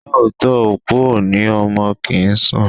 Lóòótọ́, òkú o ní ọmọ kì ń sùn.